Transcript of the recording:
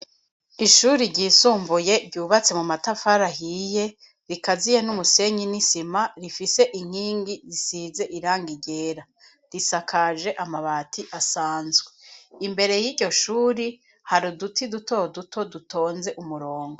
Ishuri ryisumbuye, ryubatse mu matafari ahiye, rikaziye n'umusenyi, n'isima, rifise inkingi zisize irangi ryera; risakaje amabati, asanzwe; imbere y'iryo shuri, hari uduti, duto duto, dutonze umurongo.